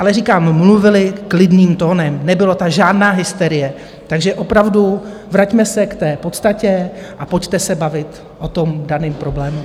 Ale říkám, mluvili klidným tónem, nebyla tam žádná hysterie, takže opravdu vraťme se k té podstatě a pojďte se bavit o tom daném problému.